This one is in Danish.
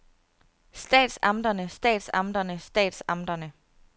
statsamterne statsamterne statsamterne